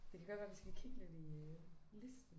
Det kan godt være vi skal kigge lidt i øh listen